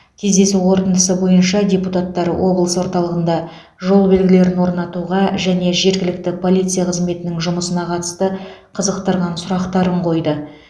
кездесу қорытындысы бойынша депутаттар облыс орталығында жол белгілерін орнатуға және жергілікті полиция қызметінің жұмысына қатысты қызықтырған сұрақтарын қойды